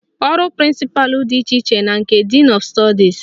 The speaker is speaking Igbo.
Ọrụ prịnsịpalụ dị iche na nke din ọf stọdis